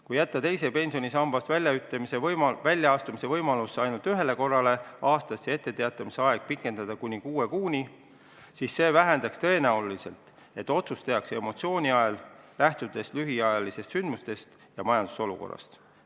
Kui piirata teisest pensionisambast väljaastumise võimalus ainult ühe korraga aastas ja etteteatamise aega pikendada kuni kuue kuuni, siis see vähendaks tõenäosust, et otsus tehakse emotsiooni ajel, lähtudes lühiajalistest sündmustest ja majandusolukorrast.